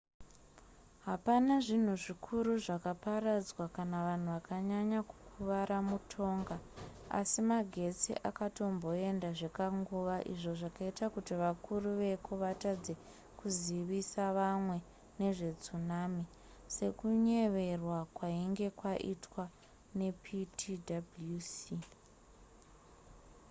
hapana zvinhu zvikuru zvakaparadzwa kana vanhu vakanyanya kukuvara mutonga asi magetsi akatomboenda zvekanguva izvo zvakaita kuti vakuru vakuru veko vatadze kuzivisa vamwe nezvetsunami sekunyeverwa kwainge kwaitwa neptwc